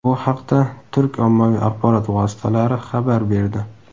Bu haqda turk ommaviy axborot vositalari xabar berdi.